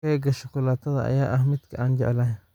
Keega shukulaatada ayaa ah midka aan jeclahay.